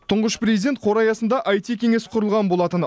тұңғыш президент қоры аясында аити кеңес құрылған болатын